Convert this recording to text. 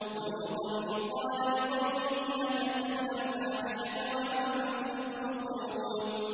وَلُوطًا إِذْ قَالَ لِقَوْمِهِ أَتَأْتُونَ الْفَاحِشَةَ وَأَنتُمْ تُبْصِرُونَ